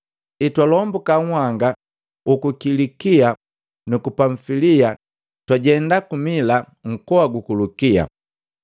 Hetwalombuka nhanga huku Kilikia nuku Pamfilia, twajema ku Mila nkoa guku Lukia.